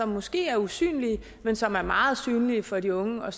måske er usynlige men som er meget synlige for de unge og